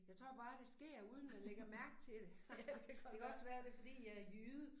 Jeg tror bare det sker uden man lægger mærke til det. Det kan også være det fordi jeg jyde